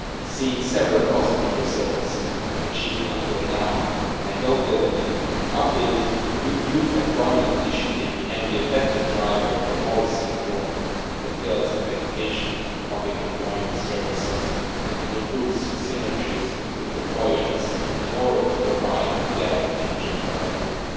Seeing several positive results achieved until now, I hope that an updated Youth Employment Initiative can be a better driver for policy reform in the fields of education, public employment services and improved synergies with employers in order to provide a better future for our youth.